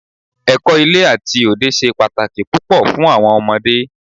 Ẹ̀kọ́ ilé àti òde ṣe pàtàkì púpọ̀ fún àwọn ọmọdé.